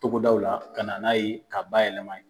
Togodaw la ka na n'a ye ka ba yɛlɛma yen.